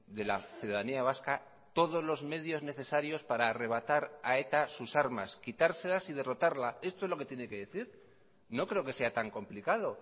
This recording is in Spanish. de la ciudadanía vasca todos los medios necesarios para arrebatar a eta sus armas quitárselas y derrotarla esto es lo que tiene que decir no creo que sea tan complicado